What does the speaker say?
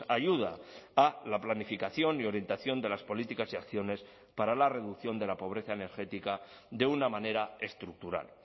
ayuda a la planificación y orientación de las políticas y acciones para la reducción de la pobreza energética de una manera estructural